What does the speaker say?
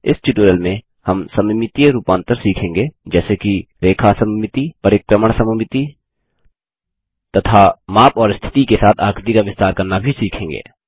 इस ट्यूटोरियल में हम सममितीय रूपांतर सीखेंगे जैसे कि रेखा सममिति परिक्रमण सममिति तथा माप और स्थिति के साथ आकृति का विस्तार करना भी सीखेंगे